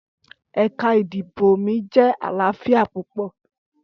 Ẹka idibo mi jẹ alaafia pupọ.